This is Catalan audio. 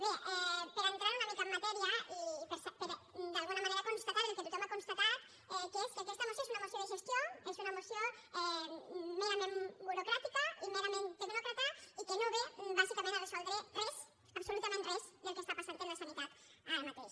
bé per entrar una mica en matèria i per d’alguna manera constatar el que tothom ha constatat que és que aquesta moció és una moció de gestió és una moció merament burocràtica i merament tecnòcrata i que no ve bàsicament a resoldre res absolutament res del que està passant en la sanitat ara mateix